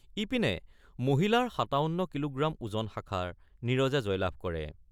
ইপিনে মহিলাৰ ৫৭ কিলোগ্ৰাম ওজন শাখাৰ নীৰজে জয়লাভ কৰে।